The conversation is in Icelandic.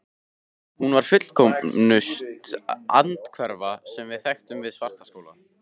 Hún var fullkomnust andhverfa, sem við þekktum, við Svartaskóla.